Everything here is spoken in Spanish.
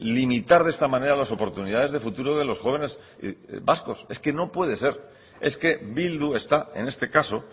limitar de esta manera las oportunidades de futuro de los jóvenes vascos es que no puede ser es que bildu está en este caso